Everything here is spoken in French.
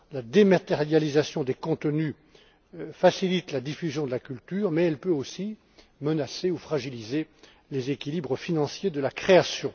La dématérialisation des contenus facilite la diffusion de la culture, mais elle peut aussi menacer ou fragiliser les équilibres financiers de la création.